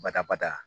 Bata bada